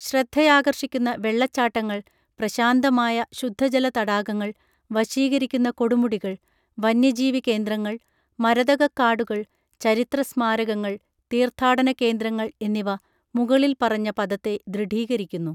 ശ്രദ്ധയാകർഷിക്കുന്ന വെള്ളച്ചാട്ടങ്ങൾ പ്രശാന്തമായ ശുദ്ധജല തടാകങ്ങൾ വശീകരിക്കുന്ന കൊടുമുടികൾ വന്യജീവി കേന്ദ്രങ്ങൾ മരതകക്കാടുകൾ ചരിത്ര സ്മാരകങ്ങൾ തീർത്ഥാടന കേന്ദ്രങ്ങൾ എന്നിവ മുകളിൽ പറഞ്ഞ പദത്തെ ദൃഢീകരിക്കുന്നു